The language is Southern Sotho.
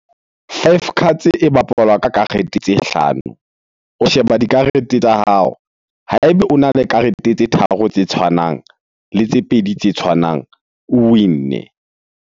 Five cards e bapalwa ka karete tse hlano. O sheba dikarete tsa hao. Ha ebe ona le karete tse tharo tse tshwanang le tse pedi tse tshwanang, o win-ne.